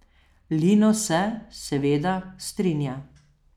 Lino se, seveda, strinja.